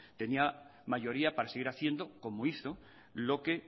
tenía mayoría para seguir haciendo como hizo lo que